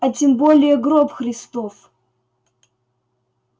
а тем более гроб христов